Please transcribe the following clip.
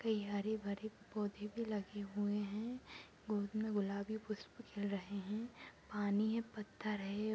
कई हरे-भरे पौधे भी लगी हुए है गोद मे गुलाबी पुष्प खिल रहे है पानी है पत्थर है।